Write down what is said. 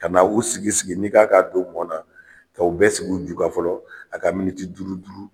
Ka na u sigi sigi, n'i kan ka don mɔn na, ka o bɛ sigi u ju kan fɔlɔ, a ka miniti duuru duuru